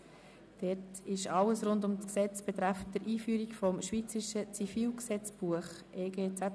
Es geht um alles rund um das Gesetz betreffend die Einführung des Schweizerischen Zivilgesetzbuches (EG ZGB).